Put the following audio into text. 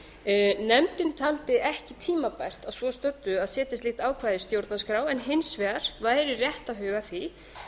nefndin taldi ekki tímabært að svo stöddu að setja slíkt ákvæði í stjórnarskrá en hins vegar væri rétt að huga að því